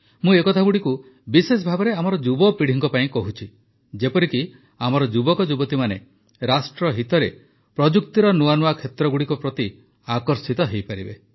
ମୁଁ ଏକଥାଗୁଡ଼ିକୁ ବିଶେଷଭାବେ ଆମର ଯୁବପିଢ଼ି ପାଇଁ କହୁଛି ଯେପରିକି ଆମ ଯୁବକ ଯୁବତୀମାନେ ରାଷ୍ଟ୍ର ହିତରେ ପ୍ରଯୁକ୍ତର ନୂଆ ନୂଆ କ୍ଷେତ୍ରଗୁଡ଼ିକ ପ୍ରତି ଆକର୍ଷିତ ହୋଇପାରିବେ